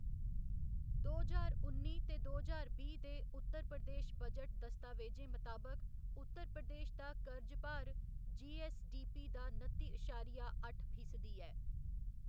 दो ज्हार उन्नी ते दो ज्हार बीह्‌ दे उत्तर प्रदेश बजट दस्तावेजें मताबक, उत्तर प्रदेश दा करज भार जी.ऐस्स.डी.पी. दा नत्ती अशारिया अट्ठ फीसदी ऐ।